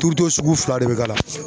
sugu fila de bɛ k'a la